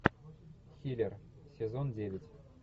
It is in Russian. хилер сезон девять